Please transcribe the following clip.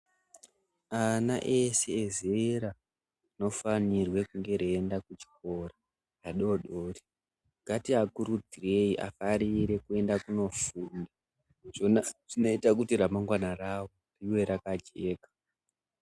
Ana ese ezera rinofanirwe kunge reienda kuchikora, adodori, ngatiakurudzirei afarire kuenda kunofunda zvona zvinoita kuti ramangwana ravo rive rakajeka.